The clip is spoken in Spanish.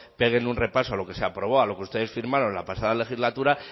peguen un repaso a lo que se aprobó a lo que ustedes firmaron la pasada legislatura